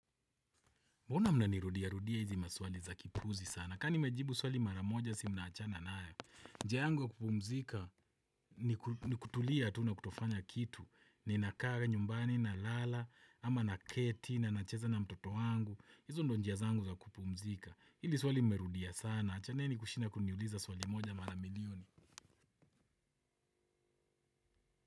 Mbona mnanirudia, rudia hizi maswali za kipuzi sana. Kamani mejibu swali mara moja si mnaachana nayo tu. Njia yangu wa kupumzika ni kutulia tu na kutofanya kitu. Ninakaa, nyumbani, na lala, ama naketi, na nacheza na mtoto wangu. Hizo ndio njia zangu za kupumzika. Hili swali mmerudia sana. Shida ni kushinda kuniuliza swali moja mara milioni.